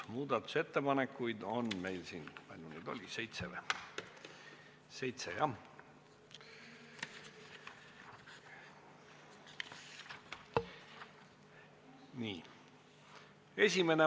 Muudatusettepanekuid on meil seitse.